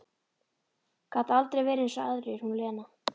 Gat aldrei verið eins og aðrir, hún Lena.